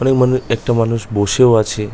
অনেক মানুষ একটা মানুষ বসেও আছে।